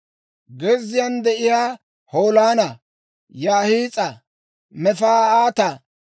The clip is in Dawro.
«Gezziyaan de'iyaa Holoona, Yaahis'a, Mefa'aata,